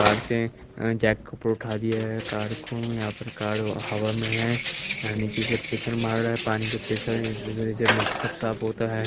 Car से jack के ऊपर उठा दिया है कार को या फिर कार हवा में है निचे से पेसर मार रहा है पानी के पेसर से निचे से मट्टी सब साफ होता है।